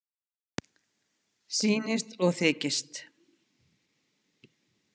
Sýnist og þykist.